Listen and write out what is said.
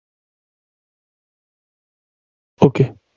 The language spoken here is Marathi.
okay